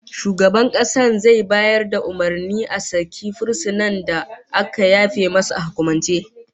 Shugaban kasa zai bayar da umurnin a saki fursunan da aka yafe masa a hukumance